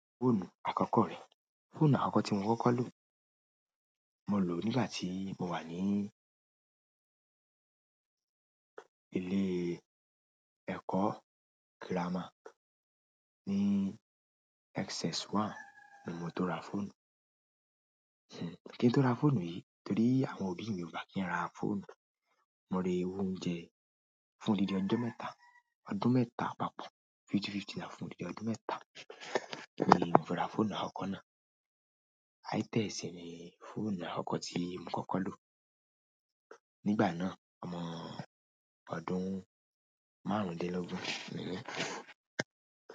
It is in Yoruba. Fóònù àkọ́kọ́ rẹ̀. Fóònù àkọ́kọ́ tí mo kọ́kọ́ lò. Mo ló nígbà tí mo wà ní ilé ẹ̀kọ́ girama. Ni SS one ni mo tó ra fóònù. Kí n tó ra fóònù yìí, torí àwọn òbí mi ò gba kí n ra fóònù, mo re owó oúnjẹ fún odidi ọjọ́ mẹ́ta, ọdún mẹ́ta papọ̀ fifty-fifty náírà fún odidi ọdún mẹ́ta ni mo rà fóònù àkọ́kọ́ náà. Itel sì ni fóònù àkọ́kọ́ tí mo kọ́kọ́ lò. Nígbà náà, ọmọ ọdún márùndin lógún ni mí.